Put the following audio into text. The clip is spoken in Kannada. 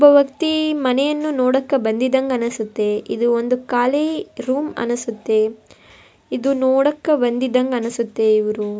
ವ್ಯಕ್ತಿ ಮನೆಯನ್ನು ನೋಡಾಕ ಬಂದಿದ್ದಂಗ್ ಅನ್ನಿಸ್ತೈತೆ ಇದು ಒಂದು ಕಾಲಿ ರೂಮ್ ಅನ್ನಿಸತ್ತಿ ಇದು ನೋಡಾಕ ಬಂದ್ದಿದಂಗ ಅನ್ನಿಸುತ್ತಿ ಇವರು.